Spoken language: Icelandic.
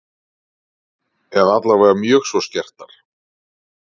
Eða allavega mjög svo skertar.